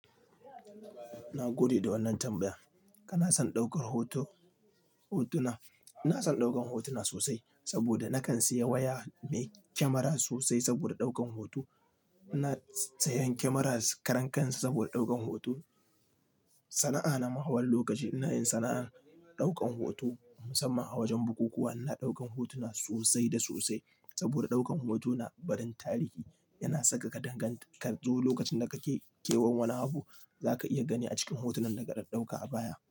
Na gode da wannan tambaya. Kana son ɗaukar hoto, hotuna? Ina son ɗaukan hotuna sosai saboda na kan siya waya mai kyamara sosai saboda ɗaukan hoto. Na siya kyamara karankan saboda ɗaukan hoto. Sana'a na mahawar lokaci ina yin sana'ar ɗaukan hoto musamman a wajen bukukuwa. Ina ɗaukan hotuna sosai da sosai saboda ɗaukan hoto na barin tarihi. Yana saka ka danganta kar zo lokacin da kake kewan wani abu za ka iya gani a cikin hotunan da ka ɗauka a baya.